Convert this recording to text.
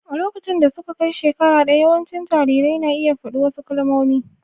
A lokacin da suka kai shekara ɗaya, yawancin jarirai na iya faɗi wasu kalmomi.